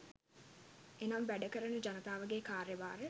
එනම් වැඩ කරන ජනතාවගේ කාර්යභාරය